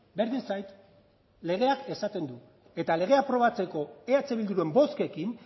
berdin zait legeak esaten du eta legea aprobatzeko eh bilduren bozkekin